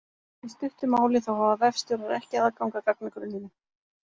Í stuttu máli þá hafa vefstjórar ekki aðgang að gagnagrunninum.